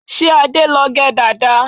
Ṣé Adé ló gẹ dàda?